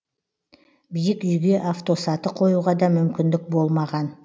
биік үйге автосаты қоюға да мүмкіндік болмаған